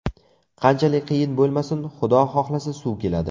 Qanchalik qiyin bo‘lmasin, Xudo xohlasa, suv keladi”.